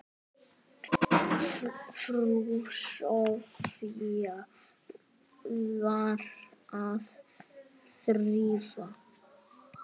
Frú Soffía var að þrífa.